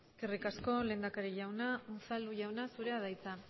eskerrik asko lehendakari unzalu jauna unzalu jauna zurea da hitza